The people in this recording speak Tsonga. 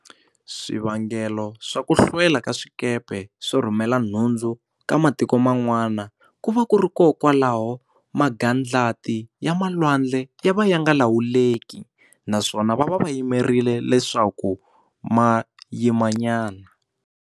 Swivangelo swa ku hlwela ka swikepe swo rhumela nhundzu ka matiko man'wana ku va ku ri kokwalaho magadlati ya malwandle ya va ya nga lawuleki naswona va va va yimerile leswaku ma yima nyana.